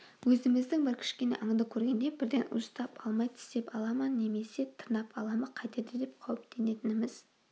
өзіміздің бір кішкене аңды көргенде бірден уыстап алмай тістеп ала ма немесе тырнап ала ма қайтеді деп қауіптенетініміз